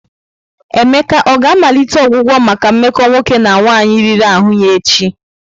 Emeka ọ ga-amalite ọgwụgwọ maka mmekọ nwoke na nwaanyị riri ahụ ya echi?